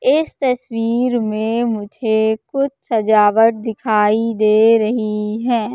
इस तस्वीर में मुझे कुछ सजावट दिखाई दे रही है।